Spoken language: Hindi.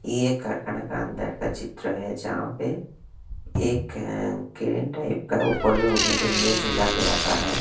ये एक कारखाना का अंदर का चित्र है जहां पे एक अह ग्रीन टाइप का ऊपर में उड़ने के लिए झूला के रखा है।